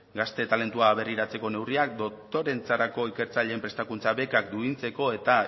gazte talentua aberriratzeko neurriak doktoretzarako ikertzaileen prestakuntza bekak duintzeko eta